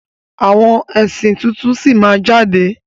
Àwọn ẹ̀sìn tuntun sí máa jáde.